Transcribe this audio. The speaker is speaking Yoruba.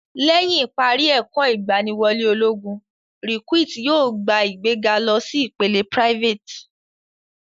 Lẹ́yìn ìparí ẹ̀kọ́ ìgbàwọlé ológun, recuit yóò gba ìgbéga lọ sí ìpele private.